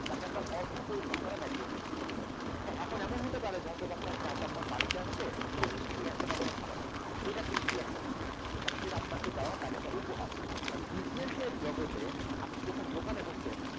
তাকে আপনার অর্থ পরিষদ পড়া maturity র পরিচয়, হ্যাঁ এখন এমন হতে পারে যেহেতু বা চা টা আপনার বাড়িতে আসছে মিষ্টি নিয়ে আসছে বা গরম খাবার নিয়ে আসছে। এটা free of cost না তাহলে সেটা আপনাকে দেওয়া তাদের উপহার আর business এর জগতে আপনি যখন দোকানে বসছেন